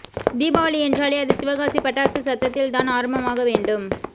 தீபாவளி என்றாலே அது சிவகாசி பட்டாசுச் சத்தத்தில் தான் ஆரம்பமாக வேண்டும்